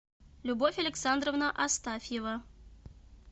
любовь александровна астафьева